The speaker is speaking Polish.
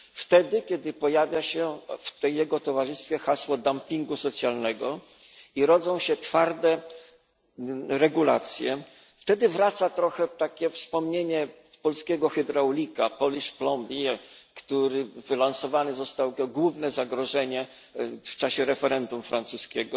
Wtedy, kiedy pojawia się w jego towarzystwie hasło dumpingu socjalnego i rodzą się twarde regulacje, wtedy wraca trochę takie wspomnienie polskiego hydraulika, Polish plumber który wylansowany został jako główne zagrożenie w czasie referendum francuskiego.